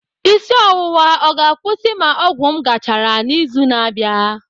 Isi ọwụwa ọ ga-akwụsị ma ọgwụ m gachara n'izu na-abịa?